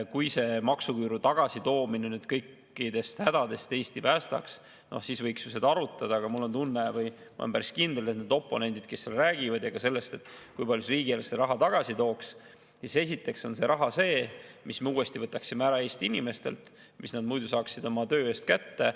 Kui maksuküüru tagasi toomine kõikidest hädadest Eesti päästaks, siis võiks ju seda arutada, aga mul on tunne või ma olen päris kindel, et need oponendid, kes räägivad sellest, kui palju see riigieelarvesse raha tagasi tooks, siis esiteks on see raha see, mis me uuesti võtaksime ära Eesti inimestelt, mis nad muidu saaksid oma töö eest kätte.